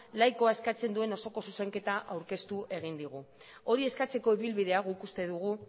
laikoa eskatzen duen osoko zuzenketa aurkeztu egin digu hori eskatzeko ibilbidea guk uste dugu